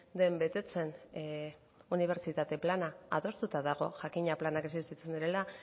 den betetzen unibertsitate plana adostuta dago jakina planak existitzen direla